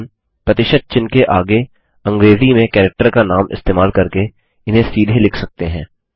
हम प्रतिशत चिह्न के आगे अंग्रेजी में कैरेक्टर का नाम इस्तेमाल करके इन्हें सीधे लिख सकते हैं